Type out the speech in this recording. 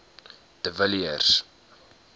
de villiers